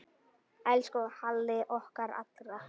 Elsku Halli okkar allra.